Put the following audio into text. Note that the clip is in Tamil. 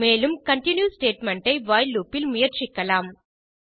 மேலும் கன்டின்யூ ஸ்டேட்மெண்ட் ஐ வைல் லூப் இல் முயற்சிக்கலாம்